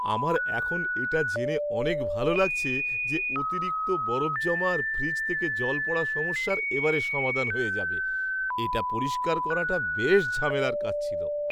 আমার এখন এটা জেনে অনেক ভালো লাগছে যে অতিরিক্ত বরফ জমা আর ফ্রিজ থেকে জল পড়ার সমস্যার এবারে সমাধান হয়ে যাবে, এটা পরিষ্কার করাটা বেশ ঝামেলার কাজ ছিল!